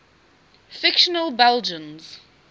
fictional belgians